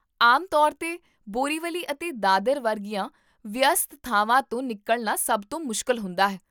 ਆਮ ਤੌਰ 'ਤੇ, ਬੋਰੀਵਲੀ ਅਤੇ ਦਾਦਰ ਵਰਗੀਆਂ ਵਿਅਸਤ ਥਾਵਾਂ ਤੋਂ ਨਿਕਲਣਾ ਸਭ ਤੋਂ ਮੁਸ਼ਕਲ ਹੁੰਦਾ ਹੈ